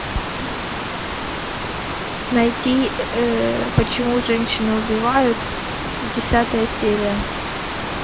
найти почему женщины убивают десятая серия